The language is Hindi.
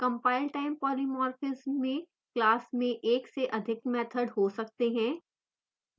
compile time polymorphism में class में एक से अधिक मैथड हो सकते हैं